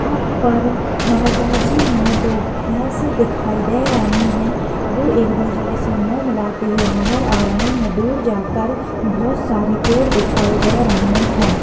यहाँ पर नर्वदा जी में दो भैंस दिखाई दे रही है वो एक दूसरे से मुंह मिलाते हुए नजर आ रही हैं दूर जाकर बहोत सारे पेड़ दिखाई दे रहे हैं।